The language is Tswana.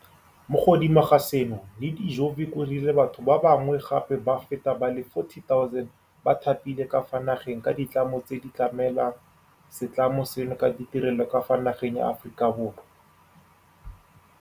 Mo godimo ga seno, Nede ljkovic o rile batho ba ba ngwe gape ba feta ba le 40 000 ba thapilwe ka fa nageng ke ditlamo tse di tlamelang se tlamo seno ka ditirelo ka fa nageng ya Aforika Borwa.